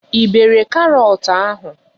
Ị bere karọt ahụ?